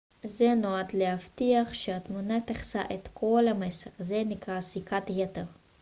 זה נועד להבטיח שהתמונה תכסה את כל המסך זה נקרא סריקת יתר